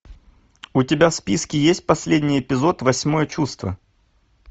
у тебя в списке есть последний эпизод восьмое чувство